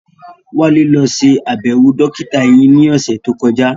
Wálé lọ ṣe àbẹ̀wò dókítà eyín ní ọ̀sẹ̀ tó kọjá